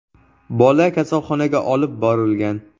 Bola kasalxonaga olib borilgan.